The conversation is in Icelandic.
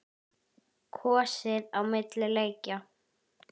Kosið á milli leikja?